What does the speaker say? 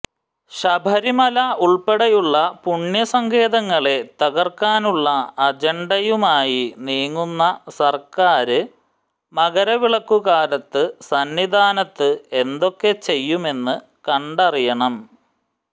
ശബരിമല ഉള്പ്പെടെയുള്ള പുണ്യ സങ്കേതങ്ങളെ തകര്ക്കാനുള്ള അജണ്ടയുമായി നീങ്ങുന്ന സര്ക്കാര് മകരവിളക്കുകാലത്ത് സന്നിധാനത്ത് എന്തൊക്കെ ചെയ്യുമെന്ന് കണ്ടറിയണം